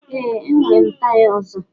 Ee, enwere m taya ọzọ.